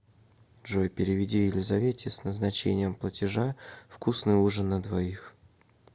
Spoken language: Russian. джой переведи елизавете с назначением платежа вкусный ужин на двоих